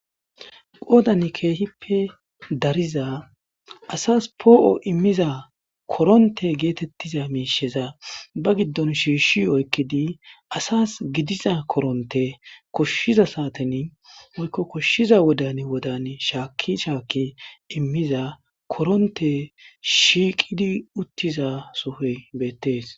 Qodan keehippe dariza asas po''o immiza koronte getetiza misheza ba gidon shishi oykidi asas koshiza koronte koshiza sateni woylo kosjiza wodani wodani shaki shaki immiza koronyey shiiqidi uttizasoy beetes